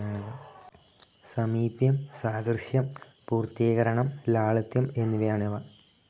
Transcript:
സമീപ്യം, സാദൃശ്യം, പൂർത്തീകരണം, ലാളിത്യം എന്നിവയാണവ.